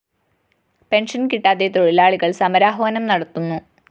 pension കിട്ടാതെ തൊഴിലാളികള്‍ സമരാഹ്വാനം നടത്തുന്നു